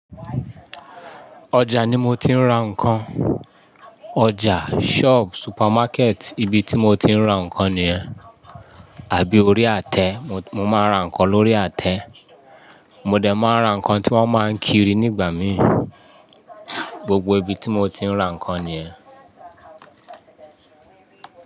Ọjà ni mo ti ń ra ǹkan. Ọjà, shop, supermarket ibi tí mo ti ń ra ǹkan nìyẹn. Àbí orí àtẹ, mo máa ń ra ǹkan lórí àtẹ. Mo dẹ̀ máa ń ra ǹkan tí wọ́n máa ń kiri nígbà mí. Gbogbo ibi tí mo ti ń ra ǹkan nìyẹn.